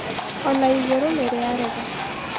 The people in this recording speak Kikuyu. ona igũrũ niriarega